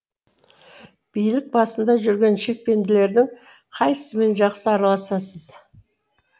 билік басында жүрген шекпенділердің қайсымен жақсы араласасыз